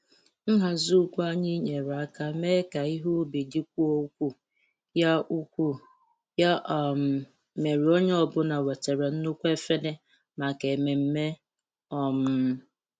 Nhazi ugwu anyị nyere aka mee ka ihe ubi dịkwuo ukwuu, ya ukwuu, ya um mere onye ọ bụla wetara nnukwu efere maka ememme. um